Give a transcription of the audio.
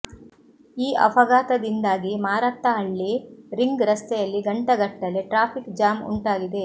ಈ ಅಪಘಾತದಿಂದಾಗಿ ಮಾರತ್ತಹಳ್ಳಿ ರಿಂಗ್ ರಸ್ತೆಯಲ್ಲಿ ಗಂಟೆಗಟ್ಟಲೆ ಟ್ರಾಫಿಕ್ ಜಾಮ್ ಉಂಟಾಗಿದೆ